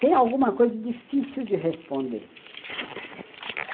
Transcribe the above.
Tem alguma coisa difícil de responder.